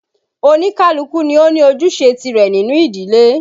Oníkálukú ni ó ní ojúṣe tìrẹ nínú ìdílé